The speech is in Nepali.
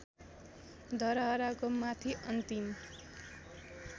धरहराको माथि अन्तिम